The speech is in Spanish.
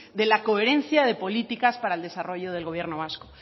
de la coherencia de políticas para el desarrollo del gobierno vasco